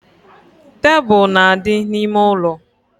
Tebulu na-adị n’ime ụlọ